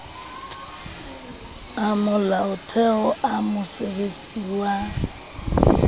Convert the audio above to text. a molaotheo a mosebesetsi wa